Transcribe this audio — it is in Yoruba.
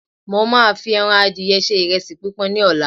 mo ma fi eran adìye se iresi pipọn ni ọlá